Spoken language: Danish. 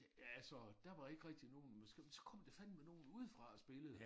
Altså der var ikke rigtig nogen men så så kom der fandeme nogen udefra og spillede